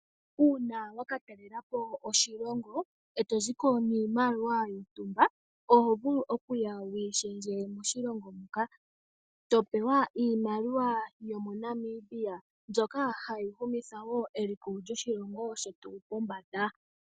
Uuna wa ka talela po oshilongo e to zi ko niimaliwa yontumba, oho vulu okuya wu yi shendje moshilongo muka, e to pewa iimaliwa yomoNamibia, mbyoka hayi humitha wo eliko lyoshilongo shetu pombanda.